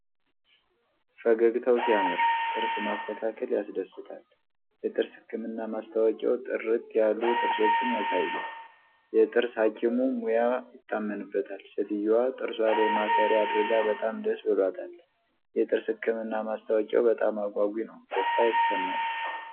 ፈገግታው ሲያምር! ጥርስ ማስተካከል ያስደስታል። የጥርስ ህክምና ማስታወቂያው ጥርት ያሉ ጥርሶችን ያሳያል። የጥርስ ሀኪሙ ሙያ ይታመንበታል። ሴትየዋ ጥርሷ ላይ ማሰሪያ አድርጋ በጣም ደስ ብሏታል። የጥርስ ህክምና ማስታወቂያው በጣም አጓጊ ነው። ደስታ ይሰማል።